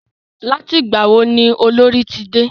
Láti ìgbà wo ni Olorì ti dé?